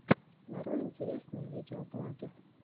нарой интересные видеоблоги